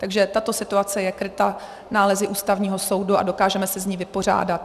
Takže tato situace je kryta nálezy Ústavního soudu a dokážeme se s ní vypořádat.